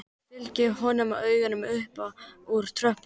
Fylgir honum með augunum upp úr tröppunum.